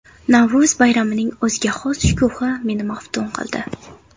Navro‘z bayramining o‘ziga xos shukuhi meni maftun qildi.